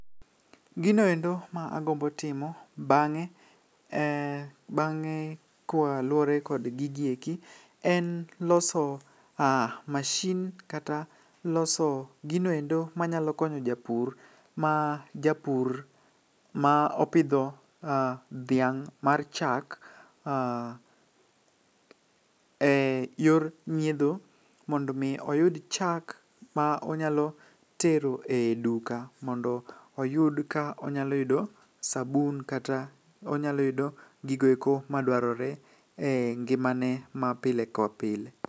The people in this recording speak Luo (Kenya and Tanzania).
Ginoendo ma agombo timo bang'e, bang'e kwa luwore kod gigieki, en loso mashin kata loso ginoendo manyalo konyo japur. Ma japur ma opidho dhiang' mar chak, e yor nyiedho. Mondo mi oyud chak ma onyalo tero e duka mondo oyud ka onyalo yudo sabun kata onyalo yudo gigieko ma dwarore e ngimane ma pile kod pile.